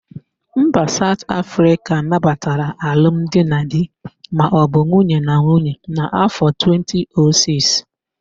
Mba Saut Afrịka nabatara alum di na di maọbụ nwunye na nwunye n'áfọ̀ 2006.